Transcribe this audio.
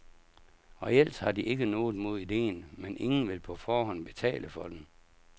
Reelt har de ikke noget mod idéen, men ingen vil på forhånd betale for den.